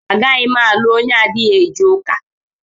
Agaghị m alụ onye adịghị eje ụka.